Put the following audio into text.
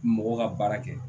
Mɔgɔw ka baara kɛ